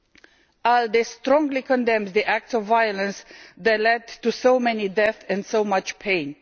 The ALDE Group strongly condemns the acts of violence that led to so many deaths and so much pain.